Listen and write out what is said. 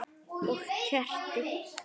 Og kerti.